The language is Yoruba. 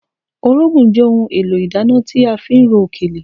Orógùn jẹ́ ohun èlò ìdáná tí a fi ń ro òkèlè